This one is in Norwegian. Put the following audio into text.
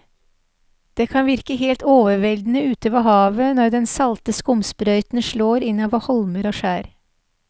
Det kan virke helt overveldende ute ved havet når den salte skumsprøyten slår innover holmer og skjær.